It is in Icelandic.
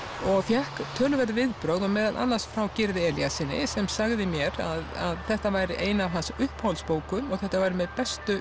og fékk töluverð viðbrögð og meðal annars frá Gyrði Elíassyni sem sagði mér að þetta væri ein af hans uppáhaldsbókum og þetta væri með bestu